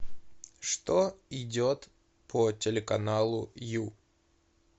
что идет по телеканалу ю